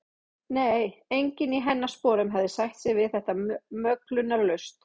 Nei, enginn í hennar sporum hefði sætt sig við þetta möglunarlaust.